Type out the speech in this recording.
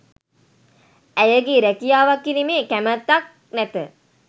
ඇයගේ රැකියාවක් කිරීමේ කැමැත්තක් නැත.